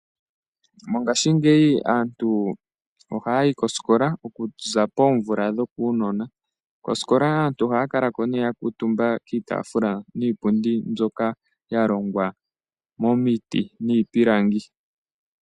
Mongaashingeyi aantu ohaya yi komanongelo okuza poomvula dhopevi elela. Ohaya kala yakuutumba kiitaafula niipundi mbyoka yalongwa momiti niipilangi.